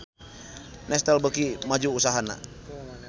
Nestle beuki maju usahana